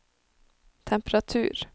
temperatur